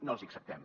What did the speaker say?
no els hi acceptem